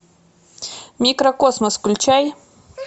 микрокосмос включай